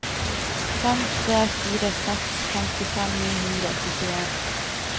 fem tre fire seks femtifem ni hundre og førtien